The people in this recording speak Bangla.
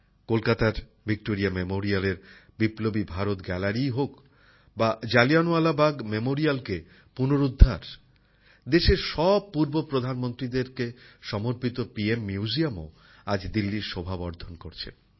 কলকাতার ভিক্টোরিয়া মেমোরিয়ালএর বিপ্লবী ভারত গ্যালারিই হোক বা জালিয়ানওয়ালাবাগ মেমোরিয়ালকে পুনরুদ্ধার দেশের সব পূর্ব প্রধানমন্ত্রীদেরকে সমর্পিত পি এম মিউজিয়ামও আজ দিল্লীর শোভা বর্ধন করছে